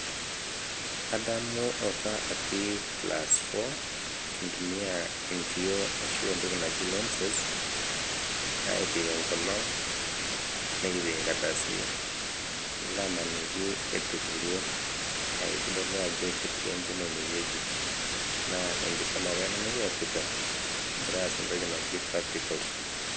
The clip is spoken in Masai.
Adamu apa atii class four, kintumia enkioo ashu entoki naji lenses aik enkolong', nekipik nkardasini, nilo amaniki etupuruo. Neeku itodolu ajo keti enkima ine wueji naa ekisoma apa ina nekiasita king'ira aas entoki naji practicals.